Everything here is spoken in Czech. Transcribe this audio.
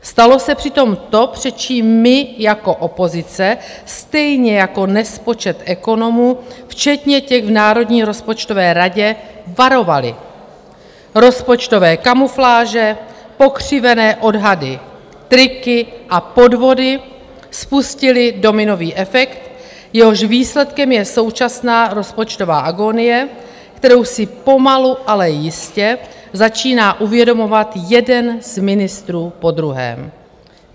Stalo se přitom to, před čím my jako opozice, stejně jako nespočet ekonomů včetně těch v Národní rozpočtové radě, varovali: Rozpočtové kamufláže, pokřivené odhady, triky a podvody spustily dominový efekt, jehož výsledkem je současná rozpočtová agonie, kterou si pomalu, ale jistě začíná uvědomovat jeden z ministrů po druhém.